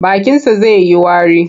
Bakinsa zai yi wari.